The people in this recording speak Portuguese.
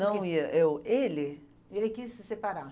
Não ia, eu, ele... Ele quis se separar?